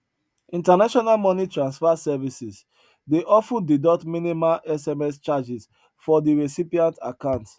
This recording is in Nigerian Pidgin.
international money transfer services dey of ten deduct minimal sms charges for de recipient account